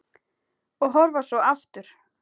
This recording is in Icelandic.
Og horfa svo aftur.